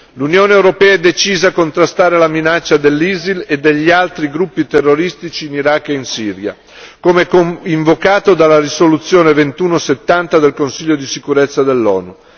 L'Unione europea è decisa a contrastare la minaccia dell'ISIL e degli altri gruppi terroristici in Iraq e in Siria, come invocato dalla risoluzione 2170 del Consiglio di sicurezza dell'ONU.